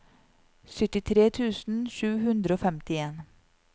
syttitre tusen sju hundre og femtien